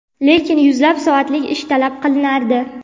lekin yuzlab soatlik ish talab qilinardi.